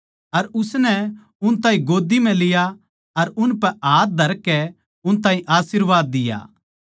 अर उसनै उन ताहीं गोद्दी म्ह लिया अर उनपै हाथ धरकै उन ताहीं आशीर्वाद दिया